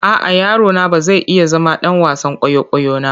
A'a, yaro na ba zai iya zama ɗan wasan kwaikwayo na.